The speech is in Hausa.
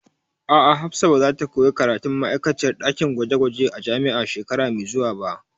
A'a, Hafsat ba zata koya karatun ma'aikaciyar ɗakin gwaje gwaje a jami'a shekara mai zuwa ba